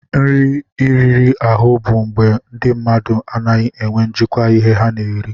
Nri riri ahụ bụ mgbe ndị mmadụ anaghị enwe njikwa ihe ha na-eri.